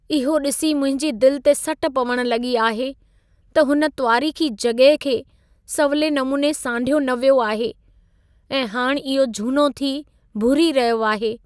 इहो ॾिसी मुंहिंजी दिल ते सट पवण लॻी आहे त हुन तवारीख़ी जॻहि खे सवले नमूने सांढियो न वियो आहे ऐं हाणि इहो झूनो थी भुरी रहियो आहे।